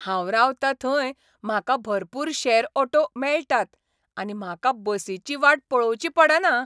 हांव रावता थंय म्हाका भरपूर शॅर ऑटो मेळटात आनी म्हाका बसीची वाट पळोवची पडना.